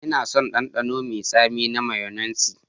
Ina son ɗanɗano mai tsami na mayonnaise.